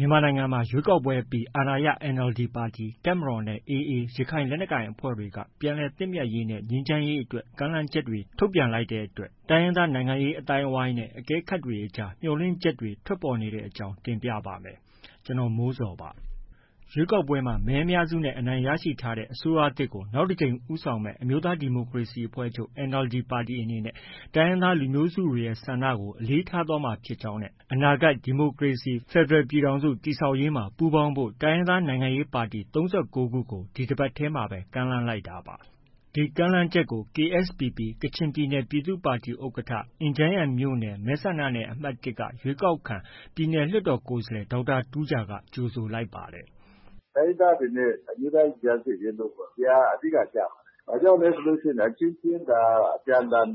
ြန်မာနိုင်ငံမှာ ရွေးကောက်ပွဲအပြီး အာဏာရ NLD ပါတီ၊ တပ်မတော်နဲ့ AA ရခိုင်လက်နက်ကိုင်အဖွဲ့တွေက ပြန်လည်သင့်မြတ်ရေးနဲ့ ငြိမ်းချမ်းရေးအတွက် ကမ်းလှမ်းချက်တွေ ထုတ်ပြန်လိုက်တဲ့အတွက် တိုင်းရင်းသား နိုင်ငံရေး အသိုင်းအဝန်းနဲ့ အကဲခတ်တွေကြား မျှော်လင့်ချက်တွေ ထွက်ပေါ်နေတဲ့အကြောင်းကို ဗွီအိုအေမြန်မာပိုင်းသတင်းထောက် ကိုမိုးဇော်က တင်ပြပါမယ်။ ရွေးကောက်ပွဲမှာ မဲအများစုနဲ့ အနိုင်ရထားတဲ့အတွက် အစိုးရသစ်ကို နောက်တကြိမ်ဦးဆောင်မယ့် အမျိုးသားဒီမိုကရေစီအဖွဲ့ချုပ် NLD ပါတီအနေနဲ့ တိုင်းရင်းသားလူမျိုးစုတွေရဲ့ ဆန္ဒကို အလေးထားသွားမှာဖြစ်ကြောင်းနဲ့ အနာဂတ် ဒီမိုကရေစီ ဖက်ဒရယ် ပြည်ထောင်စု တည်ဆောက်ရေးမှာ ပူးပေါင်းဖို့ တိုင်းရင်းသားနိုင်ငံရေးပါတီ ၃၉ ခုကို ဒီတပတ်ထဲမှာပဲ ကမ်းလှမ်းလိုက်တာပါ။ ကမ်းလှမ်းချက်အပေါ် KSPP ကချင်ပြည်နယ်ပြည်သူ့ပါတီ ဥက္ကဋ္ဌ၊ အင်ဂျန်းယန်မြို့နယ် မဲဆန္ဒနယ်အမှတ် ၁ က ရွေးကောက်ခံ ပြည်နယ် လွှတ်တော်ကိုယ်စားလှယ် ဒေါက်တာ တူးဂျာက ကြိုဆိုလိုက်ပါတယ်။ “တိုင်းရင်းသားတွေနဲ့ အမျိုးသားရင်ကြားစေ့ရေးလုပ်ဖို့ ဒီဟာက အဓိက ကျပါတယ်။ ဘာကြောင့်လဲဆိုရင် အချင်းချင်း အပြန်အလှန်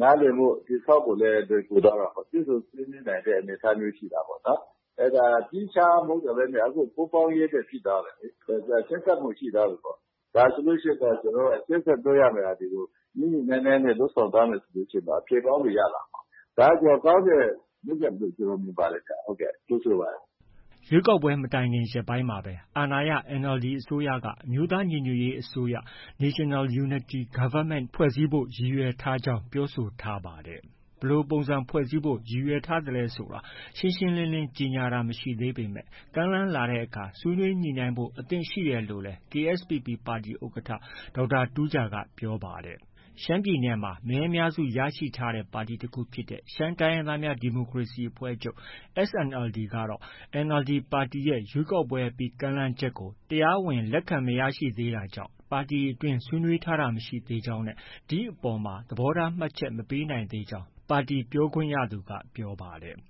နားလည်မှု တည်ဆောက်ဖို့လည်း လွယ်ကူသွားတာပေါ့။ တွေ့ဆုံဆွေးနွေးနိုင်တဲ့ အနေအထားမျိုးရှိတာပေါ့။ အဲဒါ သီးခြားမဟုတ်တော့ဘဲ ပူးပေါင်းဖို့အတွက် ဖြစ်သွားတယ်လေ။ ဆက်စပ်မှုရှိသွားပြီပေါ့။ ဒါဆိုရင်တော့ ရှေ့ဆက်လုပ်ရမယ့်ဟာတွေကို ညှိညှိနှိုင်းနှိုင်းနဲ့ လုပ်ဆောင်သွားမယ်ဆိုရင်တော့ အဖြေကောင်းတွေ ရလာမှာပါ။ ဒါက ကောင်းတဲ့လုပ်ရပ်လို့ ကျနော်မြင်ပါတယ်။ ကြိုဆိုပါတယ်။” ရွေးကောက်ပွဲမတိုင်ခင်ရက်ပိုင်းမှာပဲ အာဏာရ NLD အစိုးရက အမျိုးသားညီညွတ်ရေးအစိုးရ National Unity Government ဖွဲ့စည်းဖို့ ရည်ရွယ်ထားကြောင်း ပြောဆိုထားပါတယ်။ ဘယ်လိုပုံစံဖွဲ့စည်းဖို့ ရည်ရွယ်ထားသလဲဆိုတာ ရှင်းရှင်းလင်း ကြေညာတာမရှိသေးပေမဲ့ ကမ်းလှမ်းလာတဲ့အခါ ဆွေးနွေးညှိနှိုင်းဖို့ အသင့်ရှိတယ်လို့လည်း KSPP ပါတီ ဥက္ကဋ္ဌ ဒေါက်တာတူးဂျာက ပြောပါတယ်။ ရှမ်းပြည်နယ်မှာ မဲအများစုရရှိထားတဲ့ ပါတီတစ်ခုဖြစ်တဲ့ ရှမ်းတိုင်းရင်းသားများ ဒီမိုကရေစီအဖွဲ့ချုပ် SNLD ကတော့ NLD ပါတီရဲ့ ရွေးကောက်ပွဲအပြီး ကမ်းလှမ်းချက်ကို တရားဝင်လက်ခံမရသေးတာကြောင့် ပါတီအတွင်း ဆွေးနွေးထားတာမရှိသေးကြောင်းနဲ့ ဒီအပေါ် သဘောထားမှတ်ချက် မပေးနိုင်သေးကြောင်း ပါတီ ပြောခွင့်ရသူက ပြောပါတယ်။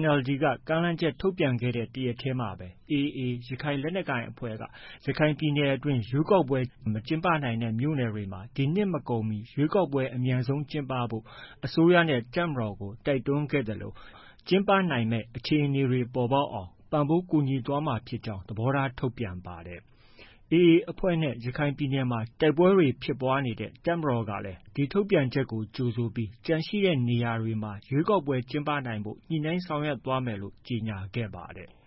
NLD က ကမ်းလှမ်းချက် ထုတ်ပြန်ခဲ့တဲ့ တရက်တည်းမှာပဲ AA ရခိုင်လက်နက်ကိုင်အဖွဲ့က ရခိုင်ပြည်နယ်အတွင်း ရွေးကောက်ပွဲမကျင်းပနိုင်တဲ့ မြို့နယ်တွေမှာ ဒီနှစ် မကုန်မီ ရွေးကောက်ပွဲအမြန်ဆုံးကျင်းပဖို့ အစိုးရနဲ့ တပ်မတော်ကို တိုက်တွန်းခဲ့သလို ကျင်းပနိုင်မယ့် အခြေအနေတွေ ပေါ်ပေါက်အောင် ပံ့ပိုးကူညီသွားမှာဖြစ်ကြောင်း သဘောထားထုတ်ပြန်ပါတယ်။ AA အဖွဲ့နဲ့ ရခိုင်ပြည်နယ်မှာ တိုက်ပွဲတွေ ဖြစ်ပွားနေတဲ့ တပ်မတော်ကလည်း ထုတ်ပြန်ချက်ကို ကြိုဆိုခဲ့ပြီး ကျန်ရှိနေတဲ့နေရာတွေမှာ ရွေးကောက်ပွဲကျင်းပနိုင်ဖို့ ညှိနှိုင်းဆောင်ရွက်သွားမယ်လို့ ကြေညာခဲ့ပါတယ်။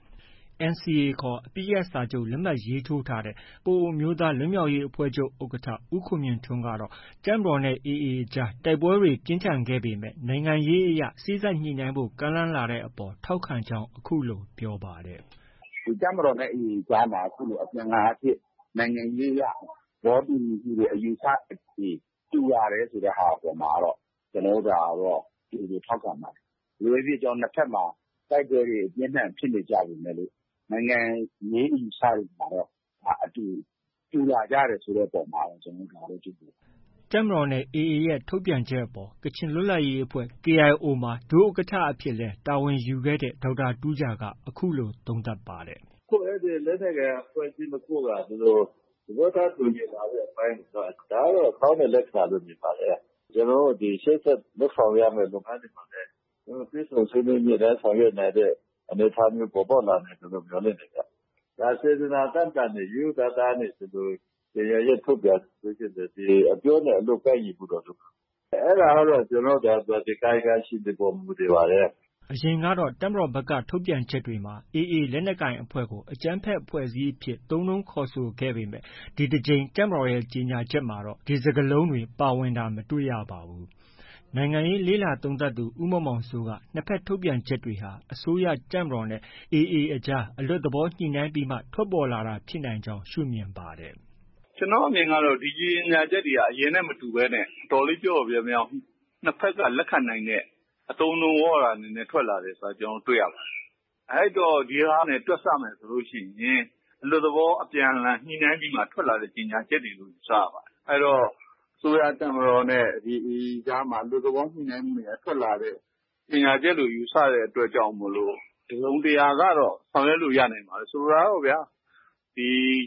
NCA ခေါ် အပစ်ရပ်စာချုပ် လက်မှတ် ရေးထိုးထားတဲ့ ပအိုဝ်းအမျိုးသားလွတ်မြောက်ရေးအဖွဲ့ချုပ် ဥက္ကဋ္ဌ ဦးခွန်မြင့်ထွန်းကတော့ တပ်မတော်နဲ့ AA အကြား တိုက်ပွဲတွေ ပြင်းထန်ခဲ့ပေမဲ့ နိုင်ငံရေးအရ စေ့စပ်ညှိနှိုင်းဖို့ ကမ်းလှမ်းလာတဲ့အပေါ် ထောက်ခံကြောင်း အခုလို ပြောပါတယ်။ “တပ်မတော်နဲ့ AA အကြားမှာ အခုလို အပြန်အလှန်အားဖြင့် နိုင်ငံရေးအရ သဘောတူညီမှုတွေ၊ အယူအဆတွေ တူလာတယ်ဆိုတဲ့ဟာ အပေါ်မှာတော့ ကျနော်တို့ ကြိုဆို ထောက်ခံပါတယ်။ ဘယ်လိုပဲဖြစ်ဖြစ် နှစ်ဘက်မှာ တိုက်ပွဲတွေ ပြင်းပြင်းထန်ထန်ဖြစ်နေကြပေမယ်လို့ နိုင်ငံရေးအယူအဆတွေမှာ တူလာကြတဲ့အပေါ်မှာတော့ ကျနော်တို့ ကြိုဆိုတယ်။” တပ်မတော်နဲ့ AA ရဲ့ထုတ်ပြန်ချက်အပေါ်မှာ ကချင်လွတ်လပ်ရေးအဖွဲ့ KIO မှာ ဒုဥက္ကဋ္ဌ အဖြစ်လည်း တာဝန်ယူခဲ့တဲ့ ဒေါက်တာတူးဂျာက အခုလို သုံးသပ်ပါတယ်။ “အဲဒီလက်နက်ကိုင်အဖွဲ့အစည်း ၂ ခုက သဘောထား တူညီလာတဲ့အပိုင်းတွေက ဒါကတော့ ကောင်းတဲ့ လက္ခဏာလို့ မြင်ပါတယ်။ ဒါကို ရှေ့ဆက်လုပ်ဆောင်ရမယ့် လုပ်ငန်းစဉ်တွေမှာလည်း တွေ့ဆုံဆွေးနွေး ညှိနှိုင်းဆောင်ရွက်နိုင်တဲ့ အနေအထားမျိုး ပေါ်ပေါက်လာမယ်လို့ မျှော်လင့်တယ်ဗျ။ ဒါ စေတနာသန့်သန့်နဲ့ ရိုးရိုးသားသားနဲ့ ကြေညာချက် ထုတ်ပြန်တယ်ဆို အပြောနဲ့ အလုပ် ကိုက်ညီဖို့ တော့ လိုပါတယ်။ အဲဒါကတော့ ကာယကံရှင်တွေအပေါ် မူတည်ပါတယ်။” အရင်ကတော့ တပ်မတော်ဘက်က ထုတ်ပြန်ချက်တွေမှာ AA လက်နက်ကိုင်အဖွဲ့ကို အကြမ်းဖက်အဖွဲ့အစည်းအဖြစ် သုံးနှုန်းခေါ်ဆိုခဲ့ပေမဲ့ ဒီတစ်ကြိမ် တပ်မတော်ရဲ့ ကြေညာချက်မှာတော့ ဒီစကားလုံးတွေ ပါဝင်တာ မတွေ့ရပါဘူး။ နိုင်ငံရေးလေ့လာသုံးသပ်သူ ဦးမောင်မောင်စိုးက နှစ်ဘက်ထုတ်ပြန်ချက်ဟာ အစိုးရ၊ တပ်မတော်နဲ့ AA အကြား အလွတ်သဘောညှိနှိုင်းပြီးမှ ထွက်ပေါ်လာတာဖြစ်နိုင်ကြောင်း ရှုမြင်ပါတယ်။ “ကျနော့်အမြင်ကတော့ ဒီကြေညာချက်တွေဟာ အရင်ကနဲ့ မတူဘဲနဲ့ အတော်လေး ပျော့ပျော့ပြောင်းပြောင်း နှစ်ဘက်က လက်ခံနိုင်တဲ့ အသုံးအနှုန်းဝေါဟာရတွေနဲ့ ထွက်လာတယ်ဆိုတာ ကျနော်တို့ တွေ့ရပါတယ်။ အဲတော့ ဒီဟာနဲ့ တွက်ဆမယ်ဆိုရင် အလွတ်သဘောအပြန်အလှန် ညှိနှိုင်းပြီးမှ ထွက်လာတဲ့ ကြေညာချက်တွေလို့ ယူဆရပါတယ်။ အဲဒီတော့ အစိုးရ၊ တပ်မတော်နဲ့ AA အကြားမှာ အလွတ်သဘော ညှိနှိုင်းမှုတွေက ထွက်လာတဲ့ ကြေညာချက်လို့ ယူဆရတဲ့အတွက်ကြောင့်မိုလို့ တစ်စုံတစ်ရာ ကတော့ ဆောင်ရွက်လို့ ရနိုင်ပါတယ်။ ဆိုလိုတာကတော့ဗျာ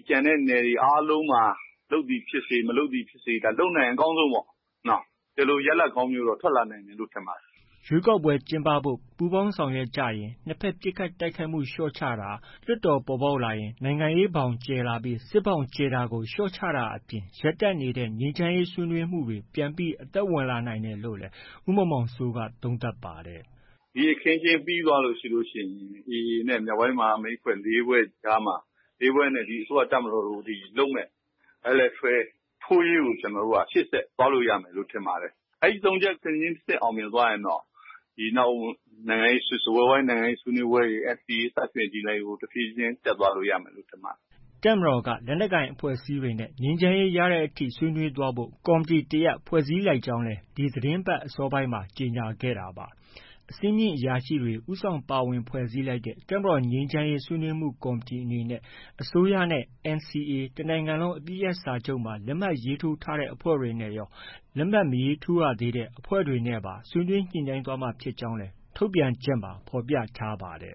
ကျန်တဲ့နယ်တွေအားလုံးမှာ လုပ်သည်ဖြစ်စေ၊ မလုပ်သည်ဖြစ်စေ၊ လုပ်နိုင်ရင် အကောင်းဆုံးပေါ့။ ဒီလို ရလဒ်ကောင်းမျိုးတော့ ထွက်လာနိုင်မယ်လို့ မြင်ပါတယ်။” ရွေးကောက်ပွဲကျင်းပဖို့ ပူးပေါင်းဆောင်ရွက်ကြရင် နှစ်ဘက်ပစ်ခတ်တိုက်ခိုက်မှုလျှော့ချတာ၊ လွှတ်တော်ပေါ်ပေါက်လာရင် နိုင်ငံရေးဘောင်ကျယ်လာရင် စစ်ဘောင်ကျယ်တာကို လျော့ချတာအပြင် ရပ်တန့်နေတဲ့ ငြိမ်းချမ်းရေးဆွေးနွေးမှုတွေ ပြန်ပြီး အသက်ဝင်လာနိုင်မယ်လို့လည်း ဦးမောင်မောင်စိုးက သုံးသပ်ပါတယ်။ “ဒီအခင်းအကျင်း ပြီးသွားလို့ရှိရင် AA နဲ့ မြောက်ပိုင်းမဟာမိတ် ၄ ဖွဲ့နဲ့ ဒီ အစိုးရ၊ တပ်မတော်နဲ့ လုပ်မယ့် Bilateral ထိုးရေးကို ရှေ့ဆက်သွားနိုင်မယ်လို့ ထင်ပါတယ်။ အဲဒီ ၃ချက် တစ်ဆင့်ခြင်းတစ်ဆင့် အောင်မြင်သွားရင်တော့ နောက် စားပွဲဝိုင်းနိုင်ငံရေးဆွေးနွေးပွဲတွေ၊ NCA စသည်ဖြင့် ဒီဟာတွေကို တဆင့်ခြင်းတဆင့် တက်သွားလို့ ရမယ်လို့ ထင်ပါတယ်။” တပ်မတော်ကတော့ လက်နက်ကိုင်အဖွဲ့အစည်းတွေနဲ့ ငြိမ်းချမ်းရေးရတဲ့အထိ ဆွေးနွေးသွားဖို့ ကော်မတီတရပ်ကို ဖွဲ့စည်းလိုက်ကြောင်းလည်း ဒီသီတင်းပတ် အစောပိုင်းမှာ ကြေညာခဲ့တာပါ။ အဆင့်မြင့်အရာရှိတွေ ဦးဆောင်ပါဝင် ဖွဲ့စည်းလိုက်တဲ့ တပ်မတော် ငြိမ်းချမ်းရေး ဆွေးနွေးမှုကော်မတီ အနေနဲ့ အစိုးရနဲ့ NCA တနိုင်ငံလုံးအပစ်ရပ်စဲရေးစာချုပ်မှာ လက်မှတ်ရေးထိုးထားတဲ့ အဖွဲ့တွေနဲ့ရော လက်မှတ်မထိုးရသေးတဲ့ အဖွဲ့တွေနဲ့ပါ ဆွေးနွေးညှိနှိုင်းသွားမှာ ဖြစ်ကြောင်းလည်း ထုတ်ပြန်ချက်မှာ ဖော်ပြထားပါတယ်